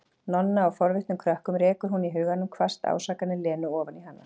Nonna og forvitnum krökkunum, rekur hún í huganum hvasst ásakanir Lenu ofan í hana.